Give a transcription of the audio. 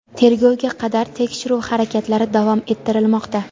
Tergovga qadar tekshiruv harakatlari davom ettirilmoqda.